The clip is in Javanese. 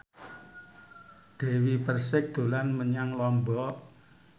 Dewi Persik dolan menyang Lombok